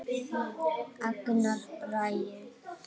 Agnar Bragi.